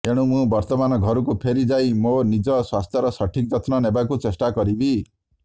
ଏଣୁ ମୁଁ ବର୍ତ୍ତମାନ ଘରକୁ ଫେରି ଯାଇ ମୋ ନିଜ ସ୍ୱାସ୍ଥ୍ୟର ସଠିକ ଯତ୍ନ ନେବାକୁ ଚେଷ୍ଟା କରିବି